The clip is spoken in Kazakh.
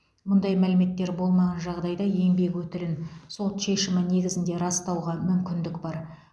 мұндай мәліметтер болмаған жағдайда еңбек өтілін сот шешімі негізінде растауға мүмкіндік бар